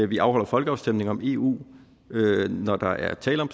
vi afholder folkeafstemning om eu når der er tale om